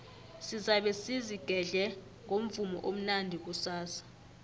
sizabe sizigedle ngomvumo omnandi kusasa